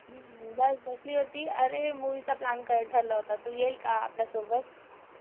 हम्म बास बसली होती, अरे मुवि चा प्लॅन क ठरला होता तू येईल का आपल्यासोबत?